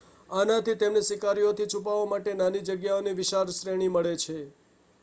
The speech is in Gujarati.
આનાથી તેમને શિકારીઓથી છુપાવા માટે નાની જગ્યાઓની વિશાળ શ્રેણી મળે છે